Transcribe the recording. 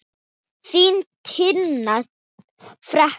Þín Tinna frænka.